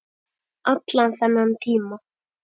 Allan þennan tíma.